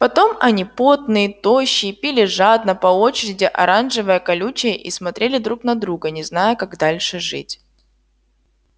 потом они потные тощие пили жадно по очереди оранжевое колючее и смотрели друг на друга не зная как дальше жить